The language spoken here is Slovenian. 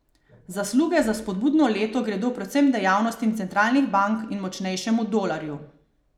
Zasluge za spodbudno leto gredo predvsem dejavnostim centralnih bank in močnejšemu dolarju.